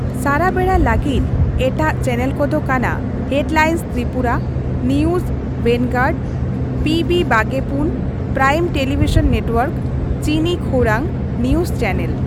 ᱥᱟᱨᱟᱵᱮᱲᱟ ᱞᱟᱹᱜᱤᱫ ᱮᱴᱟᱜ ᱪᱮᱱᱮᱞ ᱠᱚᱫᱚ ᱠᱟᱱᱟ ᱦᱮᱰᱞᱟᱭᱤᱱᱥ ᱛᱨᱤᱯᱩᱨᱟ, ᱱᱤᱭᱩᱡᱽ ᱵᱷᱮᱱᱜᱟᱨᱰ, ᱯᱤᱵᱤ ᱵᱟᱜᱮᱯᱩᱱ, ᱯᱨᱟᱭᱤᱢ ᱴᱮᱞᱤᱵᱤᱥᱚᱱ ᱱᱮᱴᱣᱟᱨᱠ, ᱪᱤᱱᱤ ᱠᱷᱳᱨᱟᱝ, ᱱᱤᱭᱩᱡᱽ ᱪᱮᱱᱮᱞ ᱾